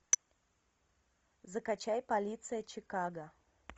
закачай полиция чикаго